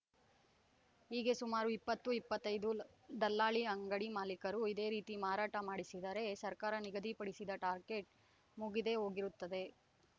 ಹೀಗೆ ಸುಮಾರು ಇಪ್ಪತ್ತು ಇಪ್ಪತ್ತೈದು ದಲ್ಲಾಳಿ ಅಂಗಡಿ ಮಾಲಿಕರು ಇದೇ ರೀತಿ ಮಾರಾಟ ಮಾಡಿಸಿದರೆ ಸರ್ಕಾರ ನಿಗದಿಪಡಿಸಿದ ಟಾರ್ಗೆಟ್‌ ಮುಗಿದೇ ಹೋಗಿರುತ್ತದೆ